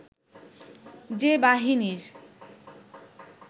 যে বাহিনীর